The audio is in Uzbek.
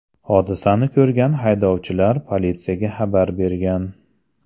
Hodisani ko‘rgan haydovchilar politsiyaga xabar bergan.